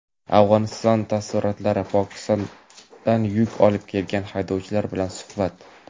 Afg‘oniston taassurotlari: Pokistondan yuk olib kelgan haydovchilar bilan suhbat.